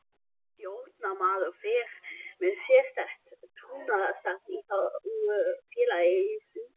Stjórnarmaður fer með sérstakt trúnaðarstarf í þágu félagsins.